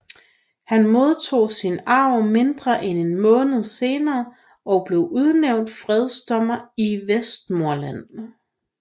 Han modtog sin arv mindre end en måned senere og blev udnævnt fredsdommer i Westmorland